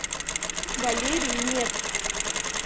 валерий нет